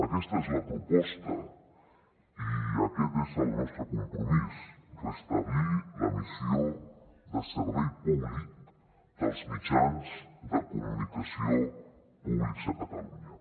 aquesta és la proposta i aquest és el nostre compromís restablir la missió de servei públic dels mitjans de comunicació públics a catalunya